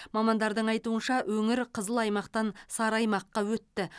мамандардың айтуынша өңір қызыл аймақтан сары аймаққа өтті